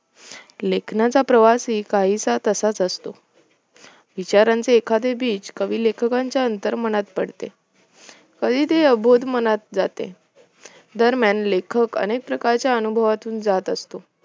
लेखनाचा प्रवासही काहीसा तसाच असतो विचारांचे एखादे बीज कवि लेखकांच्या अंतर्मनात पडते कधी ते अबोध मनात जाते दरम्यान लेखक अनेक प्रकारच्या अनुभवातून जात असतो